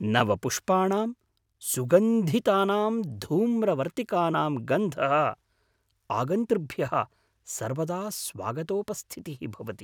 नवपुष्पाणाम्, सुगन्धितानां धूम्रवर्तिकानां गन्धः आगन्तृभ्यः सर्वदा स्वागतोपस्थितिः भवति।